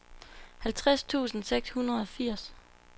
halvtreds tusind seks hundrede og firs